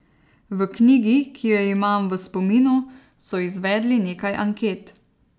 V knjigi, ki jo imam v spominu, so izvedli nekaj anket.